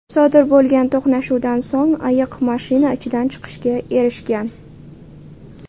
Sodir bo‘lgan to‘qnashuvdan so‘ng ayiq mashina ichidan chiqishga erishgan.